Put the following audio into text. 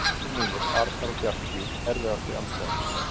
Bræður mínir Arnar og Bjarki Erfiðasti andstæðingur?